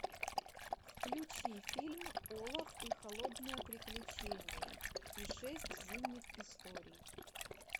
включи фильм олаф и холодное приключение и шесть зимних историй